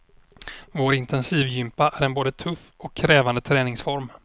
Vår intensivgympa är en både tuff och krävande träningsform.